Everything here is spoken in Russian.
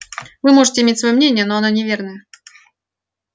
вы можете иметь своё мнение но оно неверное